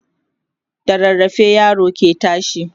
da rarrafe yaro ke tashi